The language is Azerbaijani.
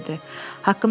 qız cavab verdi.